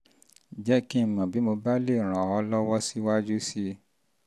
jẹ́ kí n mọ̀ bí mo bá lè ràn um ọ́ ràn um ọ́ lọ́wọ́ síwájú sí i